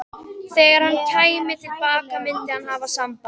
Þegar hann kæmi til baka myndi hann hafa samband.